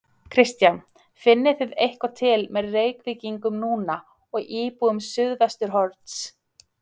Kristján: Finnið þið eitthvað til með Reykvíkingum núna og íbúum Suðvesturhorns?